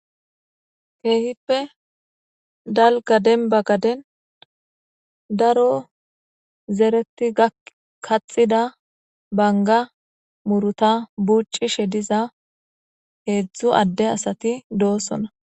Kehippe dalgga dembba gadden daaro zerreti kaxxida bangga muurutta buuccishe diiza heezhzhu adde assati dossoonna.